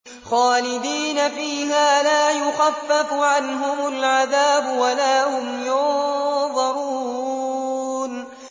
خَالِدِينَ فِيهَا لَا يُخَفَّفُ عَنْهُمُ الْعَذَابُ وَلَا هُمْ يُنظَرُونَ